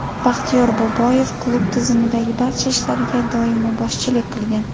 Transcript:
Baxtiyor Boboyev klub tizimidagi barcha ishlarga doimo boshchilik qilgan.